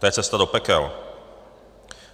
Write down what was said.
To je cesta do pekel.